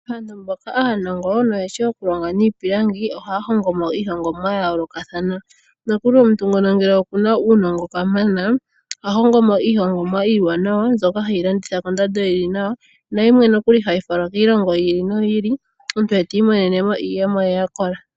Aantu mboka aanongo no yeshi oku longa niipilangi, ohaya hongo mo iihongomwa ya yoolokathana. Nokuli omuntu ngoka ngele okuna uunongo kamana, oha hongo mo iihongomwa iiwanawa mbyoka heyi landitha kondando yili nawa. Nayimwe nokuli hayi falwa kiilongo yi ili noyi ili, omuntu e tiimonene mo iiyemo ye ya kola.